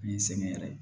Ni sɛgɛn yɛrɛ ye